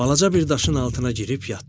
Balaca bir daşın altına girib yatdı.